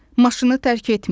Maşını tərk etməyin.